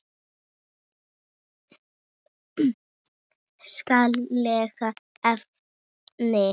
Skaðleg efni.